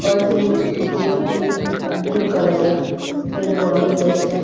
College এরগেট টি blue colour এর গেট বন্ধ রয়েছে।